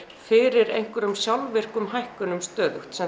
fyrir einhverjum sjálfvirkum hækkunum stöðugt sem